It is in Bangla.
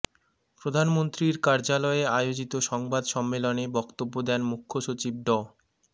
প্রধানমন্ত্রীর কার্যালয়ে আয়োজিত সংবাদ সম্মেলনে বক্তব্য দেন মুখ্যসচিব ড